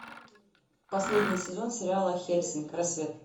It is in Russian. последний сезон сериала хеллсинг рассвет